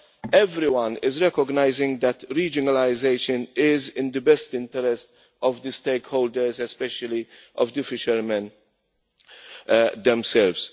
But everyone is recognising that regionalisation is in the best interest of the stakeholders, and especially of the fishermen themselves.